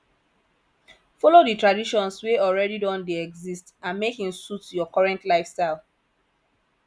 follow the traditions wey already don dey exist and make im suit your current lifestyle